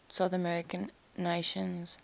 south american nations